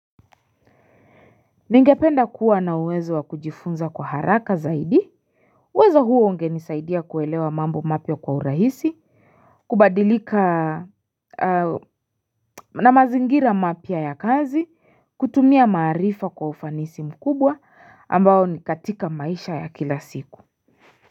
Ningependa kuwa na uwezo wa kujifunza kwa haraka zaidi uwezo huo ungenisaidia kuelewa mambo mapya kwa urahisi kubadilika na mazingira mapya ya kazi kutumia maarifa kwa ufanisi mkubwa ambao ni katika maisha ya kila siku.